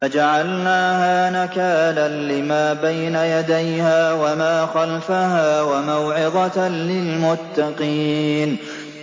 فَجَعَلْنَاهَا نَكَالًا لِّمَا بَيْنَ يَدَيْهَا وَمَا خَلْفَهَا وَمَوْعِظَةً لِّلْمُتَّقِينَ